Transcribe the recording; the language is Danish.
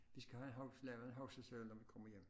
Vi skal have en huske lavet en huskeseddel når vi kommer hjem